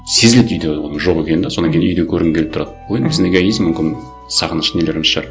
сезіледі үйде оның жоқ екені де содан кейін үйде көргің келіп тұрады ол біздің эгоизм мүмкін сағыныш нелеріміз шығар